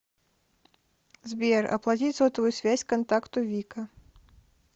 сбер оплатить сотовую связь контакту вика